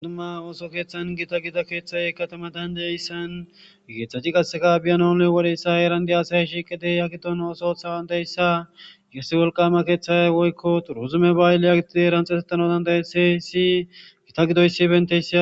inuma ooso keeththan gita gida keeththay katama dandeyaissan geeththaci qaseka biyanole wodeyssa erandi asay shiiqedey yagidon osotha wandayssa yossi wolqama keeththayay woykko turuzume ba7ayle yagitidey ranxesettano dandayese si gita gidoysi benteysa